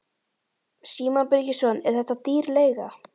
Símon Birgisson: Er þetta dýr leiga?